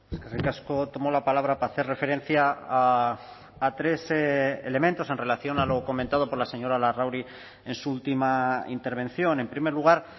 eskerrik asko tomo la palabra para hacer referencia a tres elementos en relación a lo comentado por la señora larrauri en su última intervención en primer lugar